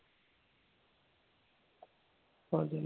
അതന്നെ.